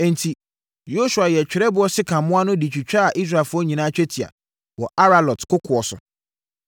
Enti, Yosua yɛɛ twerɛboɔ sekammoa no de twitwaa Israelfoɔ nyinaa twetia wɔ Aaralot kokoɔ so.